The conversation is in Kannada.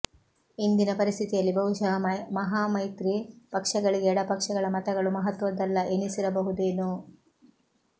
ಇಂದಿನ ಪರಿಸ್ಥಿತಿಯಲ್ಲಿ ಬಹುಶಃ ಮಹಾಮೈತ್ರಿ ಪಕ್ಷಗಳಿಗೆ ಎಡಪಕ್ಷಗಳ ಮತಗಳು ಮಹತ್ವದ್ದಲ್ಲ ಎನಿಸಿರಬಹುದೇನೊ